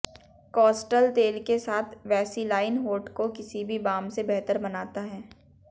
कास्टल तेल के साथ वैसीलाइन होंठ को किसी भी बाम से बेहतर बनाता है